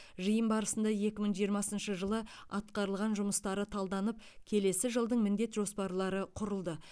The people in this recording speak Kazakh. жиын барысында екі мың жиырмасыншы жылы атқарылған жұмыстары талданып келесі жылдың міндет жоспарлары құрылды